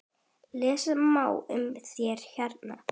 Lesa má um það hérna.